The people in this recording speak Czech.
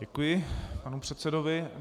Děkuji panu předsedovi.